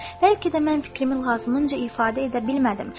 Bəlkə də mən fikrimi lazımınca ifadə edə bilmədim.